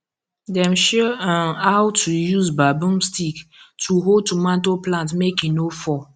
dem show um how to use bamboo stick to hold tomato plantmake he no fall